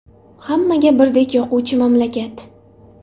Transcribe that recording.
Hammaga birdek yoquvchi mamlakat.